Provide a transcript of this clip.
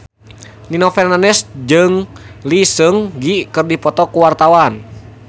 Nino Fernandez jeung Lee Seung Gi keur dipoto ku wartawan